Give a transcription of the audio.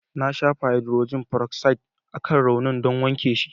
Na shafa haidrojin feroksaid akan raunin don wanke shi.